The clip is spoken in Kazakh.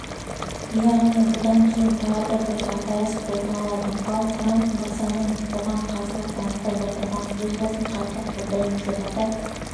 яғни бұдан кейін тағы бір дағдарыс орын алады ал трамп мыразаның бұған қарсылық танытып отырғандығын өз басым қатты қолдаймын деп атап